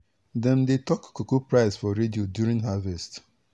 dem dey talk cocoa price for radio during harvest.